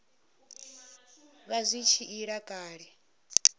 vha zwi tshi ila kale